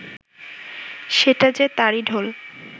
সেটা যে তারই ঢোল